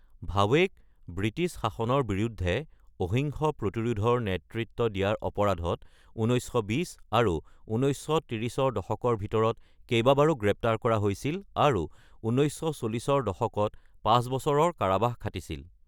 ভাৱেক British শাসনৰ বিৰুদ্ধে অহিংস প্ৰতিৰোধৰ নেতৃত্ব দিয়াৰ অপৰাধত ১৯২০ আৰু ১৯৩০ৰ দশকত ভিতৰত কেইবাবাৰো গ্ৰেপ্তাৰ কৰা হৈছিল আৰু ১৯৪০ৰ দশকত পাঁচ বছৰৰ কাৰাবাস খাটিছিল।